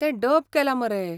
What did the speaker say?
तें डब केलां मरे.